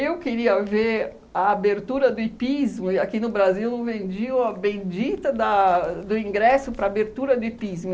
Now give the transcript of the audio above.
eu queria ver a abertura do hipismo, e aqui no Brasil vendiam a bendita da do ingresso para a abertura do hipismo.